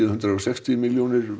hundrað og sextíu milljónir